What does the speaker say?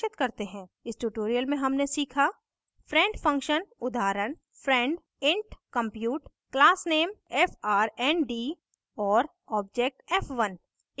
इस tutorial में हमने सीखा